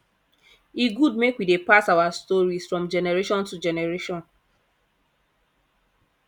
e good make we dey pass our stories from generation to generation